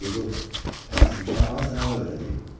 Yeqor, əzizim, çalmağı sənə o öyrədib?